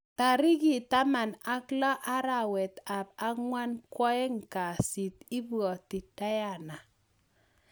Tarikit taman ak loo arawet ap angwan kwaeng kasiit ..ibwatii diana